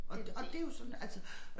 Og og det jo sådan altså